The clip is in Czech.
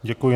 Děkuji.